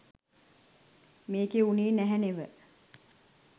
මේකෙ වුනේ නැහැ නෙව.